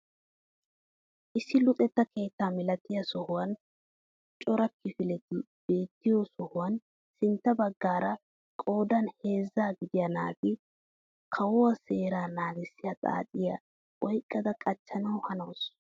Issi luxetta keetta milatiyaa sohuwaan cora kifileti beettiyo sohuwaan sintta baggaara qoodan heezzaa gidiyaa naati kawo seeraa nagissiya xaacciya oyqqada qachchanawu hanawus!